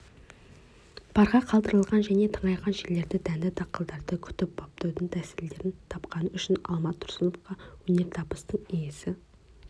парға қалдырылған және тыңайған жерлерде дәнді дақылдарды күтіп-баптаудың тәсілдерін тапқаны үшін алмат тұрсыновқа өнертабыстың иесі